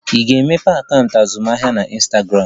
I ga-emeghe akaụntụ azụmaahịa na Ịnstagramụ?